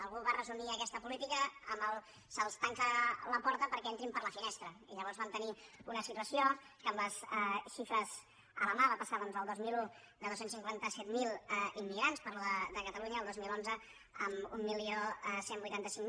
algú va re·sumir aquesta política amb se’ls tanca la porta per·què entrin per la finestra i llavors vam tenir una situ·ació que amb les xifres a la mà va passar el dos mil un de dos cents i cinquanta set mil immigrants parlo de catalunya al dos mil onze a onze vuitanta cinc